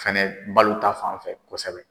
Fɛnɛ balo ta fanfɛ kosɛbɛ.